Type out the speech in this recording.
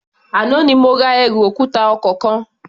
Àná ni mo ra ẹrù òkúta ọkọ̀ kan.